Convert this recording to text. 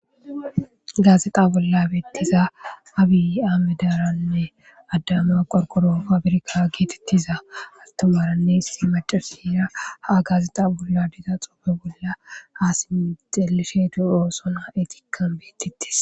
gaazeqa bolla bettiza abi-aamedaranne addama qorqoro faabirka geetettiza altamaranne hissi macaasiyra haa gaazexa bolla dida xoofe bolla aasi xelesheetu oosona etikkan beettittis